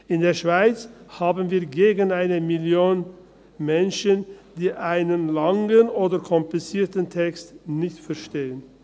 In der Schweiz haben wir gegen eine Million Menschen, die einen langen oder komplizierten Text nicht verstehen.